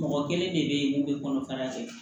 Mɔgɔ kelen de bɛ ye mun bɛ kɔnɔfara kɛ